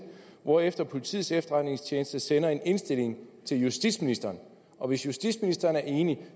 hvorefter politiets efterretningstjeneste sender en indstilling til justitsministeren og hvis justitsministeren er enig